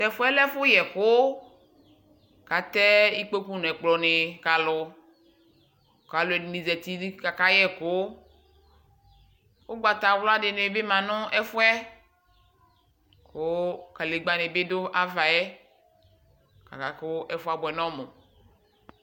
Tʋ ɛfʋ yɛ lɛ ɛfʋyɛkʋ kʋ atɛ ikpoku nʋ ɛkplɔnɩ ka alʋ kʋ alʋɛdɩnɩ zati nɩ kʋ akayɛ ɛkʋ Ʋgbatawla dɩ bɩ ma nʋ ɛfʋ yɛ kʋ kadegbǝ dɩ bɩ dʋ ava yɛ kʋ aka kʋ ɛfʋ yɛ abʋɛ nʋ ɔmʋ